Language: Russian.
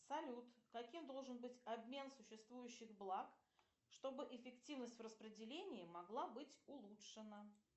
салют каким должен быть обмен существующих благ чтобы эффективность в распределении могла быть улучшена